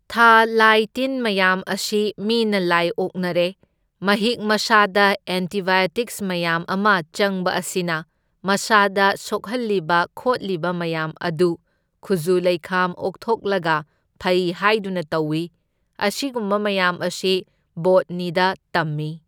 ꯊ ꯂꯥꯏ ꯇꯤꯟ ꯃꯌꯥꯝ ꯑꯁꯤ ꯃꯤꯅ ꯂꯥꯏ ꯑꯣꯛꯅꯔꯦ ꯃꯍꯤꯛ ꯃꯁꯥꯗ ꯑꯦꯟꯇꯤꯕꯥꯏꯑꯣꯇꯤꯛꯁ ꯃꯌꯥꯝ ꯑꯃ ꯆꯪꯕ ꯑꯁꯤꯅ ꯃꯁꯥꯗ ꯁꯣꯛꯍꯜꯂꯤꯕ ꯈꯣꯠꯂꯤꯕ ꯃꯌꯥꯝ ꯑꯗꯨ ꯈꯨꯖꯨ ꯂꯩꯈꯥꯝ ꯑꯣꯛꯊꯣꯛꯂꯒ ꯐꯩ ꯍꯥꯢꯗꯨꯅ ꯇꯧꯢ, ꯑꯁꯤꯒꯨꯝꯕ ꯃꯌꯥꯝ ꯑꯁꯤ ꯕꯣꯠꯅꯤꯗ ꯇꯝꯃꯤ꯫